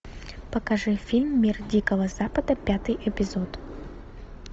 покажи фильм мир дикого запада пятый эпизод